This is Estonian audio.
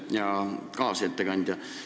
Hea kaasettekandja!